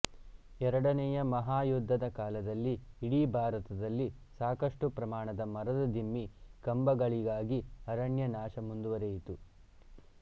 ಎರಡನೆಯ ಮಹಾಯುದ್ಧದ ಕಾಲದಲ್ಲಿ ಇಡೀ ಭಾರತದಲ್ಲಿ ಸಾಕಷ್ಟು ಪ್ರಮಾಣದ ಮರದ ದಿಮ್ಮಿ ಕಂಬಗಳಿಗಾಗಿ ಅರಣ್ಯ ನಾಶ ಮುಂದವರಿಯಿತು